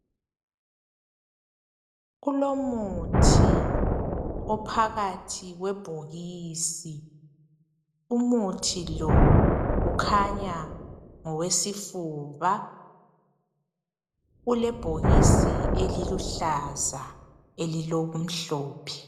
Kulomuthi ophakathi kwebhokisi, umuthi lo ukhanya ngowesifuba ulebhokisi eliluhlaza elilokumhlophe.